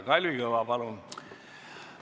Kalvi Kõva, palun!